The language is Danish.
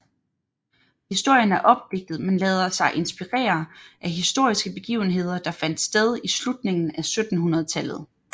Historien er opdigtet men lader sig inspirere af historiske begivenheder der fandt sted i slutningen af 1700 tallet